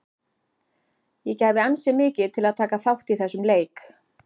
Ég gæfi ansi mikið til að taka þátt í þessum leik.